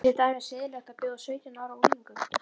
Er til dæmis siðlegt að bjóða sautján ára unglingum